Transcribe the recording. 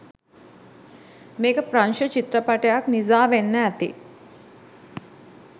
මේක ප්‍රංශ චිත්‍රපටයක් නිසා වෙන්න ඇති